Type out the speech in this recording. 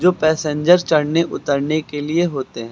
जो पैसेंजर्स चढ़ने उतरने के लिए होते हैं।